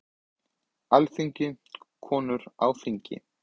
Alþingi- Konur á Alþingi.